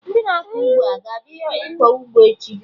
Ndị na-akọ ugbo aga abịa ịkọ ụgbọ echi?